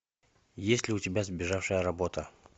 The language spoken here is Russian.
есть ли у тебя сбежавшая работа